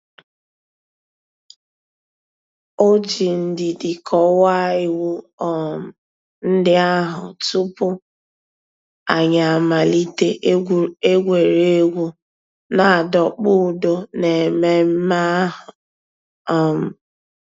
Ọ̀ jì ndìdì kọ́wàá ìwù um ńdí àhụ̀ túpù ànyị̀ àmàlítè ègwè́ré́gwụ̀ nà-àdọ̀kpụ̀ ǔ́dọ̀ n'èmẹ̀mmẹ̀ àhụ̀. um